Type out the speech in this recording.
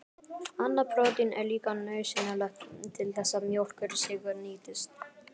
Annað prótín er líka nauðsynlegt til þess að mjólkursykur nýtist.